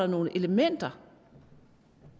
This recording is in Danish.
nogle elementer